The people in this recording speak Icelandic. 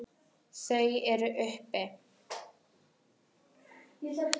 Þau eru uppi.